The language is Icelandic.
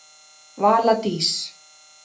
Vala Dís.